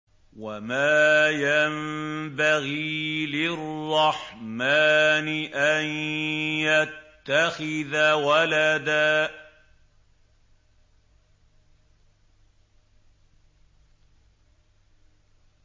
وَمَا يَنبَغِي لِلرَّحْمَٰنِ أَن يَتَّخِذَ وَلَدًا